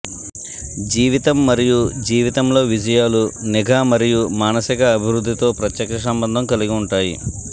జీవితం మరియు జీవితంలో విజయాలు నిఘా మరియు మానసిక అభివృద్ధితో ప్రత్యక్ష సంబంధం కలిగి ఉంటాయి